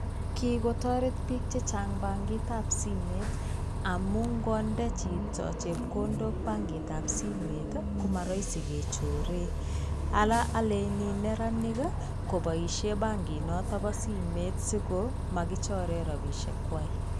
Kikotoret biik chechang bankitab simet amun ngonde chito chepkondok bankitab simet komaraisi kechore. Ara aleni neranik kopaishen bankit noto bo simet asia kichore rapishek kwai.